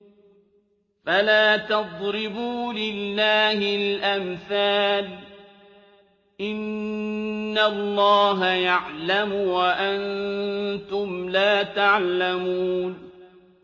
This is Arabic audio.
فَلَا تَضْرِبُوا لِلَّهِ الْأَمْثَالَ ۚ إِنَّ اللَّهَ يَعْلَمُ وَأَنتُمْ لَا تَعْلَمُونَ